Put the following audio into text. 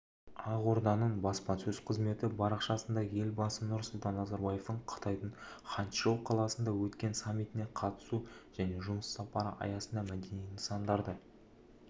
ақорданың баспасөз қызметі парақшасында елбасы нұрсұлтан назарбаевтың қытайдың ханчжоу қаласында өткен саммитіне қатысуы жәнежұмыс сапары аясында мәдени нысандарды аралауыжайлы видео жариялады